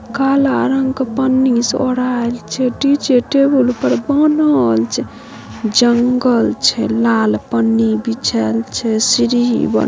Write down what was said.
काला रंग के पन्नी से ऑढेल छै डी_जे टेबुल पर बाणहल छै जंगल छै लाल पन्नी बिछाएल छै सीढी।